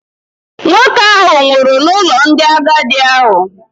Nwoke ahụ nwụrụ n’ụlọ ndị agadi ahụ